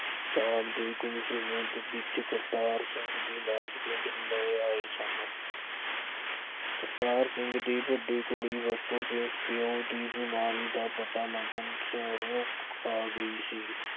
ਸ਼ਾਮ ਦੇ ਕੁੱਛ ਮਿੰਟ ਵਿੱਚ ਕਰਤਾਰ ਸਿੰਘ ਦੇ ਲਾਸ਼ ਪਿੰਡ ਲੈ ਆਏ ਸਨ। ਕਰਤਾਰ ਸਿੰਘ ਦੀ ਵੱਡੀ ਕੁੜੀ ਪਿਉ ਦੀ ਬਿਮਾਰੀ ਦਾ ਪਤਾ ਲੱਗਣ ਤੇ ਸ਼ਹਿਰੋਂ ਆ ਗਈ ਸੀ।